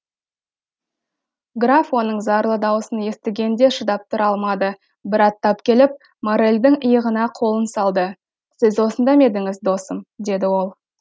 граф оның зарлы даусын естігенде шыдап тұра алмады бір аттап келіп моррельдің иығына қолын салды сіз осында ма едіңіз досым деді ол